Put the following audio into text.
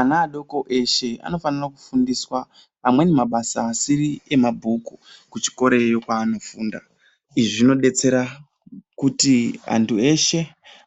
Ana adoko eshe vanofana kufundiswa amweni mabasa asiri emabhuku kuchikorayo kwaanofunda. Izvi zvinodetsera